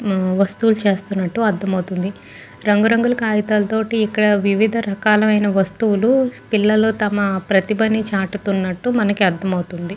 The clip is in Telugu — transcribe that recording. వస్తువులు చేస్తున్నట్టు అర్దమవుతుంది. రంగు రంగుల కాగితాల తోటి వివిధ రకాలైన వస్తువులు పిల్లలు తమ ప్రతిభాని చాటుతున్నట్టు అర్దమవుతుంది.